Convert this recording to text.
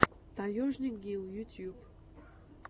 таежник гил ютьюб